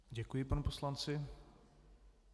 Děkuji panu poslanci.